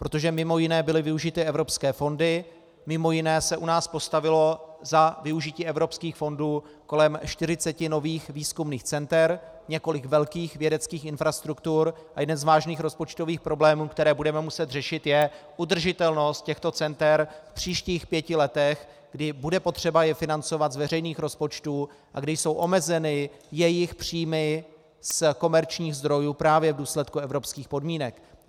Protože mimo jiné byly využity evropské fondy, mimo jiné se u nás postavilo za využití evropských fondů kolem 40 nových výzkumných center, několik velkých vědeckých infrastruktur a jeden z vážných rozpočtových problémů, které budeme muset řešit, je udržitelnost těchto center v příštích pěti letech, kdy bude potřeba je financovat z veřejných rozpočtů a kdy jsou omezeny jejich příjmy z komerčních zdrojů právě v důsledku evropských podmínek.